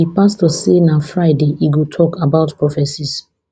di pastor say na friday e go tok about prophecies